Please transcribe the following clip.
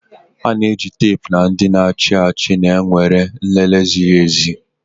A na-eji teepu na ndị na-achị achị na-ewere nlele ziri ezi